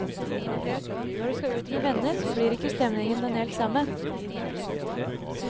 Når du skal ut med venner, blir ikke stemningen helt den samme.